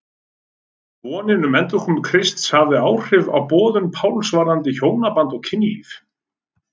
Vonin um endurkomu Krists hafði áhrif á boðun Páls varðandi hjónaband og kynlíf.